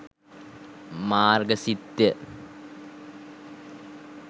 මාර්ග සිත්ය.